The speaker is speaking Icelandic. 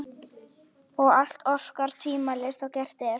Og allt orkar tvímælis þá gert er.